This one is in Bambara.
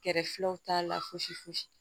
Kɛrɛfɛlaw t'a la fosi fosi